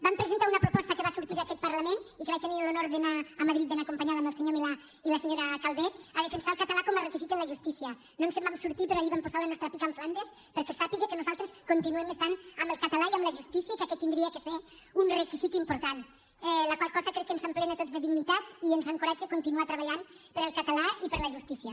vam presentar una proposta que va sortir d’aquest parlament i que vaig tenir l’honor d’anar a madrid ben acompanyada amb el senyor milà i la senyora calvet a defensar el català com a requisit en la justícia no ens en vam sortir però allí vam posar la nostra pica en flandes perquè se sàpiga que nosaltres continuem estant amb el català i amb la justícia i que aquest hauria de ser un requisit important la qual cosa crec que ens emplena a tots de dignitat i ens encoratja a continuar treballant pel català i per la justícia